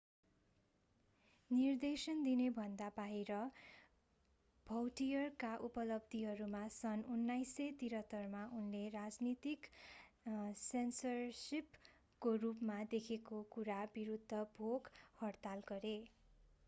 निर्देशन दिनेभन्दा बाहिर भौटियरका उपलब्धिहरूमा सन् 1973 मा उनले राजनीतिक सेन्सरशिपको रूपमा देखेको कुरा विरूद्ध भोक-हडताल गरे